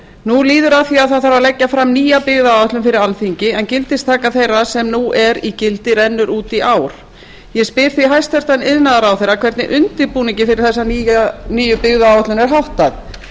nú líður að því að leggja þarf fram nýja byggðaáætlun fyrri alþingi en gildistaka þeirra sem nú er í gildi rennur út í ár ég spyr því hæstvirtur iðnaðarráðherra hvernig undirbúningi fyrir þessa nýju byggðaáætlun er háttað